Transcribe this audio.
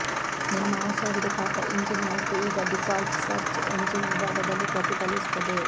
ನಿಮ್ಮ ಹೊಸ ಹುಡುಕಾಟ ಇಂಜಿನ್ ಆಯ್ಕೆ ಈಗ ಡೀಫಾಲ್ಟ್ ಸರ್ಚ್ ಎಂಜಿನ್ ವಿಭಾಗದಲ್ಲಿ ಪ್ರತಿಫಲಿಸುತ್ತದೆ